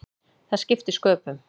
Það skipti sköpum.